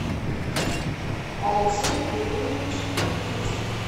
алексей велиевич никитин